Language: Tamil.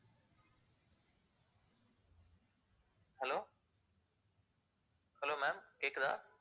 hello hello ma'am கேக்குதா?